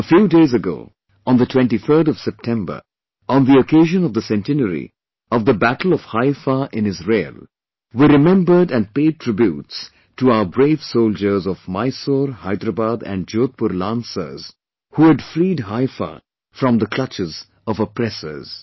A few days ago, on the 23rd of September, on the occasion of the centenary of the Battle of Haifa in Israel, we remembered & paid tributes to our brave soldiers of Mysore, Hyderabad & Jodhpur Lancers who had freed Haifa from the clutches of oppressors